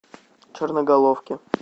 черноголовке